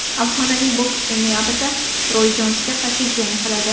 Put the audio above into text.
Afsonaviy bokschi noyabrda Roy Jonsga qarshi jang qiladi.